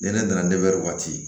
Nɛnɛ nana waati